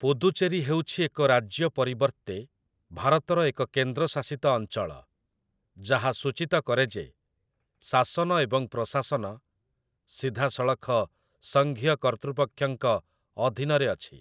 ପୁଦୁଚେରୀ ହେଉଛି ଏକ ରାଜ୍ୟ ପରିବର୍ତ୍ତେ ଭାରତର ଏକ କେନ୍ଦ୍ରଶାସିତ ଅଞ୍ଚଳ, ଯାହା ସୂଚିତ କରେ ଯେ ଶାସନ ଏବଂ ପ୍ରଶାସନ ସିଧାସଳଖ ସଂଘୀୟ କର୍ତ୍ତୃପକ୍ଷଙ୍କ ଅଧୀନରେ ଅଛି ।